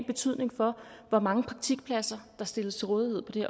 betydning for hvor mange praktikpladser der stilles til rådighed på det